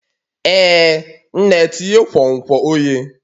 Ee nne tinye nkwonkwo oghe